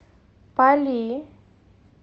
пали